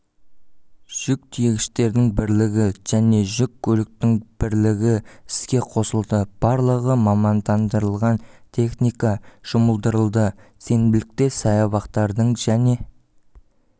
жүк тиегіштердің бірлігі және жүк көліктің бірлігі іске қосылды барлығы мамандандырылған техника жұмылдырылды сенбілікте саябақтардың және